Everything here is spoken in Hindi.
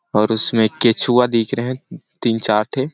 और इसमें केछुआ दिख रहै है तीन - चार ठे --